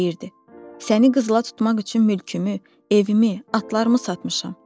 Deyirdi: “Səni qızıla tutmaq üçün mülkümü, evimi, atlarımı satmışam.”